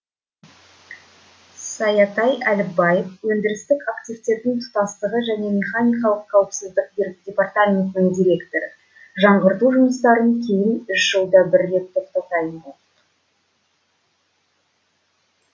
саятай әліпбаев өндірістік активтердің тұтастығы және механикалық қауіпсіздік департаментінің директоры жаңғырту жұмыстарынан кейін үш жылда бір рет тоқтайтын болдық